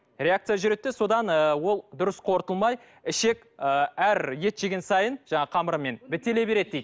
реакция жүреді де содан ы ол дұрыс қорытылмай ішек ы әр ет жеген сайын жаңағы қамырымен бітеле береді дейді